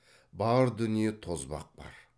бар дүниеде тозбақ бар